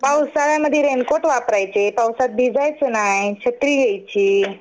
पावसाळ्यामध्ये रेनकोट वापरायचे, पावसात भिजायचं नाही, छत्री घ्यायची.